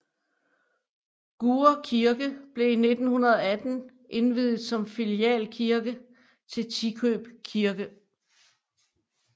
Gurre Kirke blev i 1918 indviet som filialkirke til Tikøb Kirke